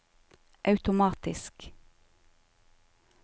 automatisk